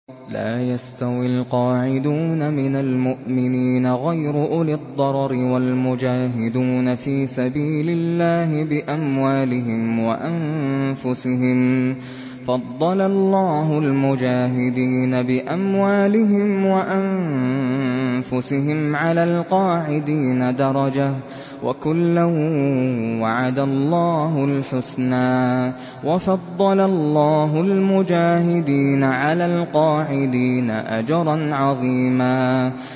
لَّا يَسْتَوِي الْقَاعِدُونَ مِنَ الْمُؤْمِنِينَ غَيْرُ أُولِي الضَّرَرِ وَالْمُجَاهِدُونَ فِي سَبِيلِ اللَّهِ بِأَمْوَالِهِمْ وَأَنفُسِهِمْ ۚ فَضَّلَ اللَّهُ الْمُجَاهِدِينَ بِأَمْوَالِهِمْ وَأَنفُسِهِمْ عَلَى الْقَاعِدِينَ دَرَجَةً ۚ وَكُلًّا وَعَدَ اللَّهُ الْحُسْنَىٰ ۚ وَفَضَّلَ اللَّهُ الْمُجَاهِدِينَ عَلَى الْقَاعِدِينَ أَجْرًا عَظِيمًا